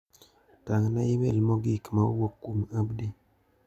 Tang'na imel mogik ma owuok kuom Abdi.